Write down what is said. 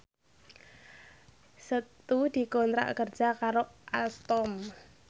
Setu dikontrak kerja karo Alstom